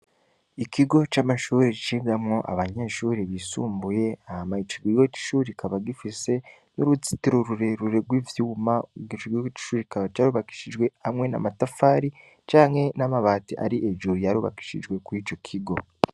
Ikigo c'amashuri ricindamwo abanyeshuri bisumbuye ahama icigigiwo c'ichuri kikaba gifise n'uruzitiro ururerure rw'ivyuma ugicoigwigiwo c'icuri ikaba carubakishijwe hamwe na matafari canke n'amabati ari ejuru yarubakishijwe kur' ico kigo.